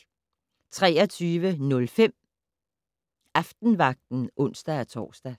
23:05: Aftenvagten (ons-tor)